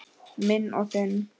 Minn og þinn.